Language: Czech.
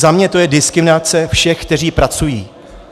Za mě to je diskriminace všech, kteří pracují.